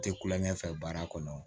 Tɛ kulonkɛ fɛ baara kɔnɔ